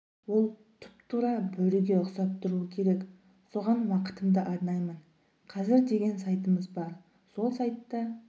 ол тұп-тура бөріге ұқсап тұруы керек соған уақытымды арнаймын қазір деген сайтымыз бар сол сайтта